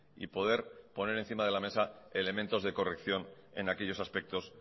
y poder poner encima de la mesa elementos de corrección en aquellos aspectos